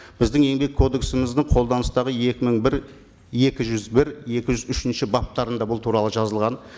біздің еңбек кодексіміздің қолданыстағы екі мың бір екі жүз бір екі жүз үшінші баптарында бұл туралы жазылған